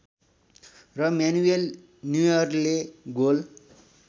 र म्यानुएल न्युअरले गोल